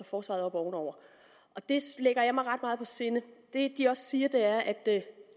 forsvaret ovenover det lægger jeg mig ret meget på sinde det de også siger er at